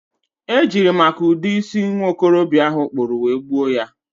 e jiri maka ụdị isi nwokorobịa ahụ kpụrụ wee gbuo ya.